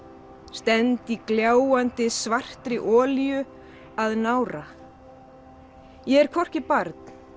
stend í gljáandi svartri olíu að nára ég er hvorki barn